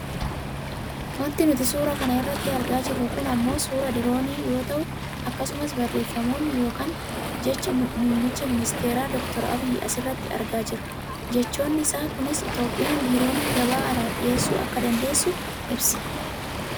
Wanti nuti suura kana irratti argaa jirru kun ammoo suuraa diroonii yoo ta'u akkasumas barreefam yookaan jedha muummicha ministeeraa Dr Abiyyi asirratti argaa jirra. Jechoonnisaaa kunis Itoopiyaan diroonii gabaa alaaf dhiyeessu akka dandessu ibsa.